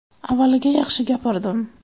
Avvaliga yaxshi gapirdim.